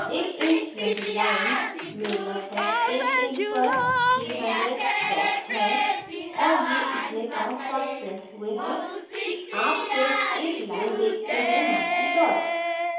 एक inch लम्बी line में लगभग एक inch पर 300 dots हैं और ये in dotsdots printed हुए हैं कि आप सिर्फ एक line देखते हैं न कि dots